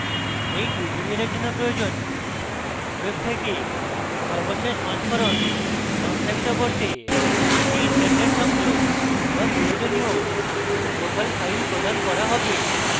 এই tutorial জন্য প্রয়োজনওয়েব থেকে সর্বশেষ সংস্করণ সংস্থাপিত করতে একটি ইন্টারনেট সংযোগ বা প্রয়োজনীয় লোকাল ফাইল প্রদান করা হবে